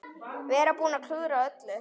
Vera búinn að klúðra öllu.